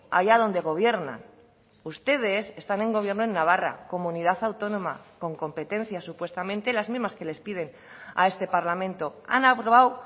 allá donde gobiernan ustedes están en gobierno en navarra comunidad autónoma con competencias supuestamente las mismas que les piden a este parlamento han aprobado